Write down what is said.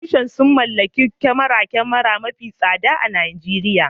Furodusan sun mallaki kyamarar kyamara mafi tsada a Najeriya